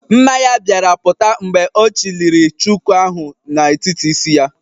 Mma ya bịara pụta mgbe ọ chịliri chuku ahụ n'etiti isi ya.